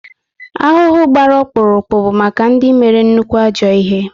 Ahụhụ gbara ọkpụrụkpụ bụ maka ndị mere nnukwu ajọ ihe